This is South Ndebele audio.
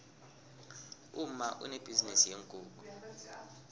umma unebhizinisi yeenkukhu